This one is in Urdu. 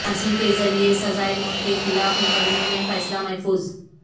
پھانسی کے ذریعے سزائے موت کے خلاف مقدمے میں فیصلہ محفوظ